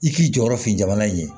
I k'i jɔyɔrɔ fin jamana in ye